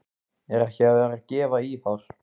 Er ekki verið að gefa í þar?